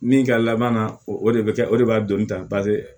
Min ka laban na o de bɛ kɛ o de b'a don tan